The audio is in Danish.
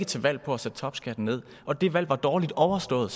til valg på at sætte topskatten ned og det valg var dårlig overstået